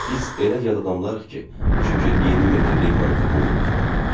Biz elə yad adamlarıq ki, şükür 20 metrlik maqnitofon lentinə.